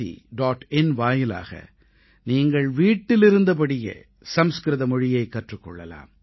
in வாயிலாக நீங்கள் வீட்டிலிருந்தபடியே சம்ஸ்க்ருத மொழியைக் கற்றுக் கொள்ளலாம்